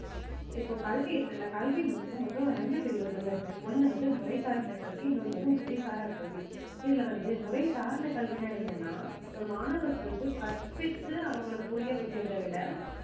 இப்போ கல்வி இருக்குல்ல கல்வி வந்து மொத்தம் ரெண்டு பிரிவுகள் இருக்கு ஒண்ணு வந்து முறை சார்ந்த கருத்து இன்னொன்னு வந்து முறைசாரா கல்வி இதுல வந்து முறை சார்ந்த கல்வின்னா என்னன்னா இப்ப மாணவர்களுக்கு கற்பித்து அவங்களை புரிய வைக்கிறதை விட